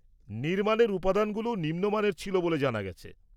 -নির্মাণের উপাদানগুলোও নিম্নমানের ছিল বলে জানা গেছে।